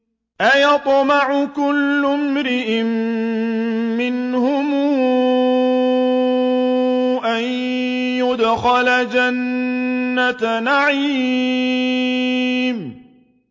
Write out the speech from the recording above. أَيَطْمَعُ كُلُّ امْرِئٍ مِّنْهُمْ أَن يُدْخَلَ جَنَّةَ نَعِيمٍ